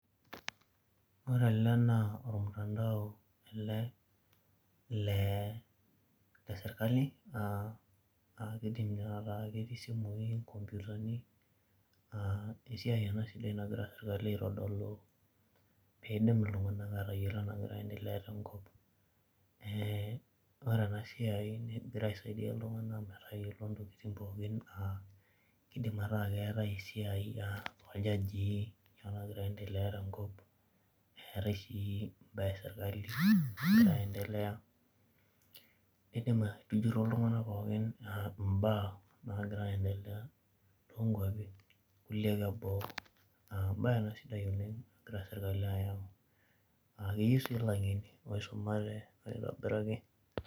Ore ele naa ormutandao le sirkali aa kiidim tanakata ketii isimuui naa esiai ena sidai nagira sirkali aitodolu pee iidim iltung'anak aatayiolo entoki nagira aiendelea tenkop ee Ore ena siai negira aisaidia oltung'anak aa kiidim